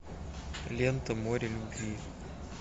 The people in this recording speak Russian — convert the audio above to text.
лента море любви